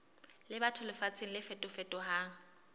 le batho lefatsheng le fetofetohang